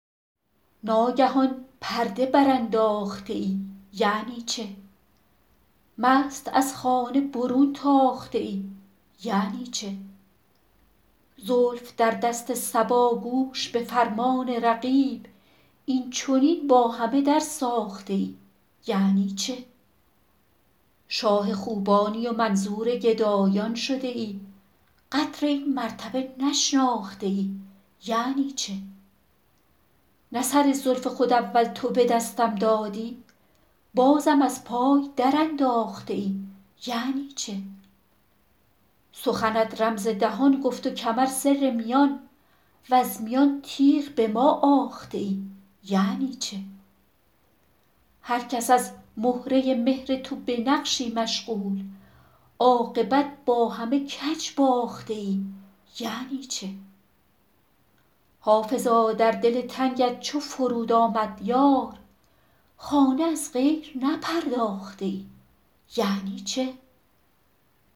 ناگهان پرده برانداخته ای یعنی چه مست از خانه برون تاخته ای یعنی چه زلف در دست صبا گوش به فرمان رقیب این چنین با همه درساخته ای یعنی چه شاه خوبانی و منظور گدایان شده ای قدر این مرتبه نشناخته ای یعنی چه نه سر زلف خود اول تو به دستم دادی بازم از پای درانداخته ای یعنی چه سخنت رمز دهان گفت و کمر سر میان وز میان تیغ به ما آخته ای یعنی چه هر کس از مهره مهر تو به نقشی مشغول عاقبت با همه کج باخته ای یعنی چه حافظا در دل تنگت چو فرود آمد یار خانه از غیر نپرداخته ای یعنی چه